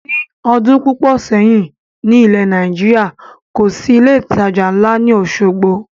Ni ọdún púpọ̀ sẹ́yìn ni ilẹ̀ Nàìjíríà, kòsi ilé ìtajà ńla ni Osogbo